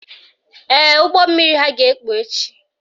Ee, ụgbọmmiri ha ga-ekpu echi